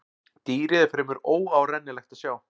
Dýrið er fremur óárennilegt að sjá.